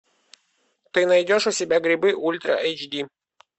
ты найдешь у себя грибы ультра эйч ди